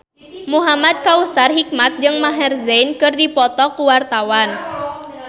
Muhamad Kautsar Hikmat jeung Maher Zein keur dipoto ku wartawan